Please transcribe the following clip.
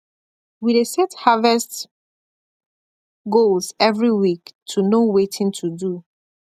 we dey set harvest goals every week to know watin to do